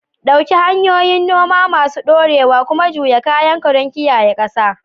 Ɗauki hanyoyin noma masu ɗorewa kuma juya kayanka don kiyaye ƙasa lafiya.